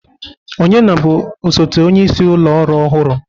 Ọnye na-bụ osote onyeisi ụlọ ọrụ ọhụrụ?